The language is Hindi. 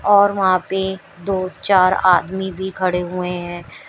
और वहां पे दो चार आदमी भी खड़े हुए हैं।